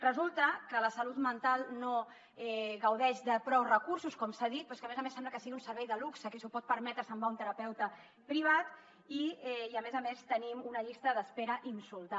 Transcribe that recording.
resulta que la salut mental no gaudeix de prou recursos com s’ha dit però és que a més a més sembla que sigui un servei de luxe qui s’ho pot permetre se’n va a un terapeuta privat i a més a més tenim una llista d’espera insultant